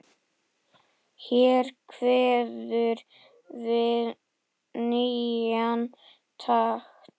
Hér kveður við nýjan takt.